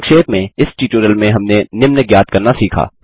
संक्षेप में इस ट्यूटोरियल में हमने निम्न ज्ञात करना सीखा